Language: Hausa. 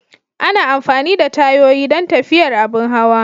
Ana amfani da tayoyi don tafiyar abin hawa.